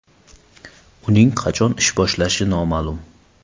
Uning qachon ish boshlashi noma’lum.